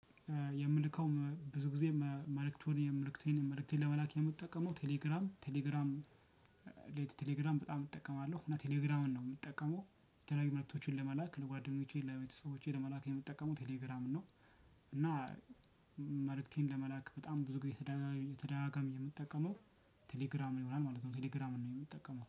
የምልከው ብዙ ጊዜ መልእክቱን መልእክቴን መልእክቴን ለመላክ የምጠቀመው ቴሌግራም ቴሌግራም ሌት ቴሌግራም በጣም እጠቀማለሁ እና ቴሌግራምን ነው የምጠቀመው የተለያዩ መልክቶችን ለመላክ ለጓደኞቼ ለቤተሰቦቼ ለመላክ የምጠቀመው ቴሌግራምን ነው። መልእክቴን ለመላክ በጣም ብዙ ጊዜ ተደጋጋሚ የምትጠቀመው ቴሌግራም ይሆናል ማለት ነው። ቴሌግራምን ነው የምትጠቀመው